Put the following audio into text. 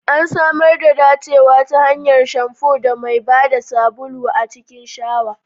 An samar da dacewa ta hanyar shamfu da mai ba da sabulu a cikin shawa.